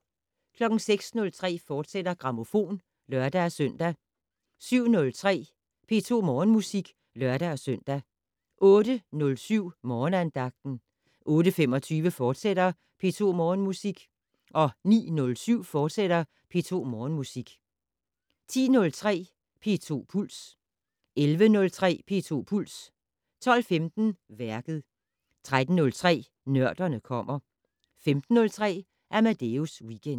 06:03: Grammofon, fortsat (lør-søn) 07:03: P2 Morgenmusik (lør-søn) 08:07: Morgenandagten 08:25: P2 Morgenmusik, fortsat 09:07: P2 Morgenmusik, fortsat 10:03: P2 Puls 11:03: P2 Puls 12:15: Værket 13:03: Nørderne kommer 15:03: Amadeus Weekend